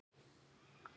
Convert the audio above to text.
Heil og sæl.